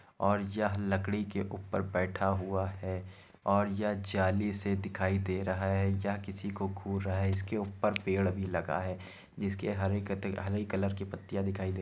और यह लकड़ी के ऊपर बैठा हुआ है और यह जाली से दिखाई दे रहा है या किसी को घूर रहा है और इसके ऊपर पेड़ भी लगा है। जिसके हरे हरे कलर की पतिया दिखाई दे --